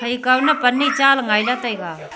phai kau ma pan ne cha ley ngaila taiga.